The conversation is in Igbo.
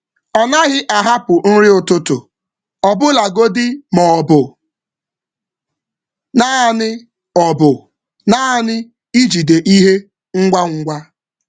Ọ naghị ahapụ nri ụtụtụ, ọbụlagodi ma ọ bụ naanị ijide ihe ngwa ngwa.